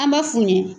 An b'a f'u ɲɛ